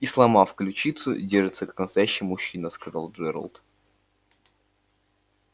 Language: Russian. и сломав ключицу держится как настоящий мужчина сказал джералд